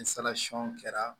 Ni kɛra